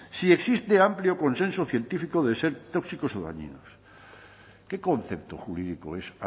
si existe amplio consenso científico de ser tóxicos o dañinos qué concepto jurídico es